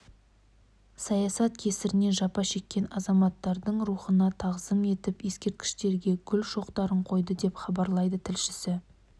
саясат кесірінен жапа шеккен азаматтардың рухына тағзым етіп ескерткішке гүл шоқтарын қойды деп хабарлайды тілшісі